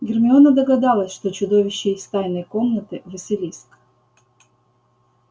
гермиона догадалась что чудовище из тайной комнаты василиск